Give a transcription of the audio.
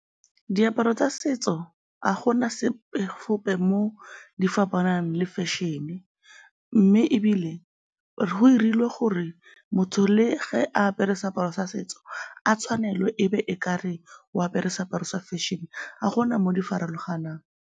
Diaparo tsa setso, ga gona sepe gope mo di fapanang le fashion-e mme ebile go dirilwe gore motho le ge a apere seaparo sa setso, a tshwanelwe e be e ka re o apere seaparo sa fashion, ga go na mo di farologanang.